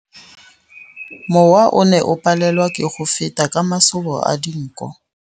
Mowa o ne o palelwa ke go feta ka masoba a dinko.